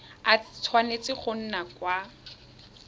a tshwanetse go nna ka